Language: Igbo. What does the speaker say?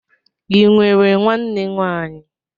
Ị nwere nwanne nwaanyị?